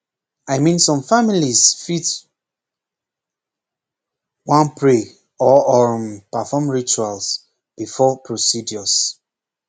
i mean some families fit pause wan pray or um perform rituals before procedures